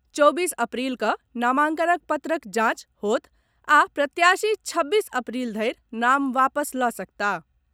चौबीस अप्रील कऽ नामांकन पत्रक जांच होयत आ प्रत्याशी छब्बीस अप्रील धरि नाम वापस लऽ सकताह।